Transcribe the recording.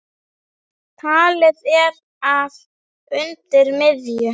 Talið er að undir miðju